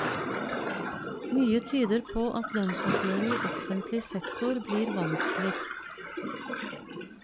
Mye tyder på at lønnsoppgjøret i offentlig sektor blir vanskeligst.